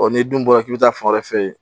n'i dun bɔra k'i bɛ taa fan wɛrɛ fɛ yen